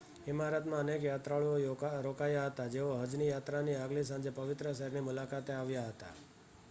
ઇમારતમાં અનેક યાત્રાળુઓ રોકાયાં હતાં જેઓ હજની યાત્રાની આગલી સાંજે પવિત્ર શહેરની મુલાકાતે આવ્યાં હતાં